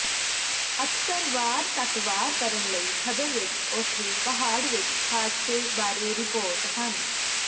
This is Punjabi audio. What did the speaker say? ਅਕਸਰ ਵਾਰ ਤੱਕ ਵਾਰ ਕਰਨ ਲਈ ਖਬਰ ਵਿਚ ਉੱਥੇ ਪਹਾੜ ਵਿੱਚ ਹਾਦਸੇ ਬਾਰੇ ਰਿਪੋਰਟ ਹਨ